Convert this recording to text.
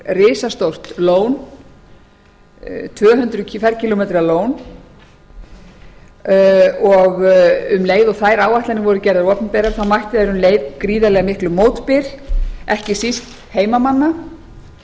risastórt lón tvö hundruð kílómetra tvö lón um leið og þær áætlanir voru gerðar opinberar mættu þær gríðarlega miklum mótbyr ekki síst heimamanna